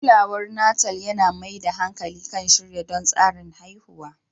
Kulawar Natal yana mai da hankali kan shirya don tsarin haihuwa.